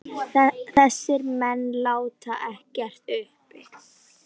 Þessir menn láti ekkert uppi.